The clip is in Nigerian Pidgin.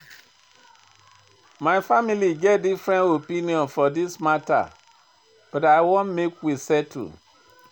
My family get different opinion for dis mata but I wan make we settle.